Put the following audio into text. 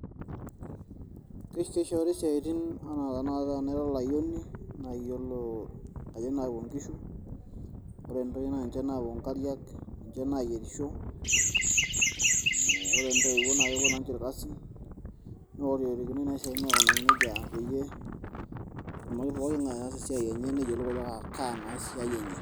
Keishooru isiaatin ana tenaata tenaa ira olayioni, nayie olo ade naapu ngishu, ore ntoyie naa ninche napuo nkariak, ninche nayierisho, hmm Ore ntoiwuo naa ninche irkasin, neororikinoi naa isiaatin aikunakino nejia peyie etumoki pooki ngae aas esiaiii enye naa niyiolou ajo kaa naa esiai enye.